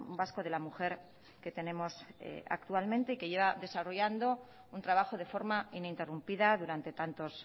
vasco de la mujer que tenemos actualmente y que lleva desarrollando un trabajo de forma ininterrumpida durante tantos